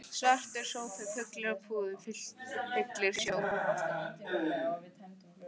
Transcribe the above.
Svartur sófi fullur af púðum fyllir sjón